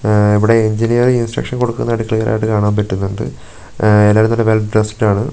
ഉം ഇവിടെ engineer instruction കൊടുക്കുന്നതായിട്ട് ക്ലിയർ ആയിട്ട് കാണാൻ പറ്റുന്നുണ്ട് എല്ലാവരും നല്ല വെൽ ഡ്രസ്സ്ഡ് ആണ്.